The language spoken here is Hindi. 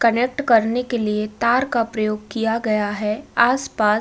कनेक्ट करने के लिए तार का प्रयोग किया गया है। आस-पास।